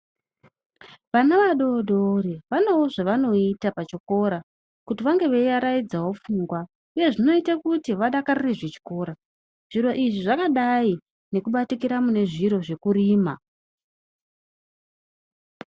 Vana vadodori vanewo zvavanoita pachikora kuti vange vei varaidzawo pfungwa uye zvinoite kuti vadakarire zvechikora zviro izvi zvakadai nekubatikira mune zviro zvekurima.